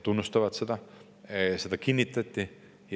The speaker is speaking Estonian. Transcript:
Kinnitati, et seda tunnustatakse.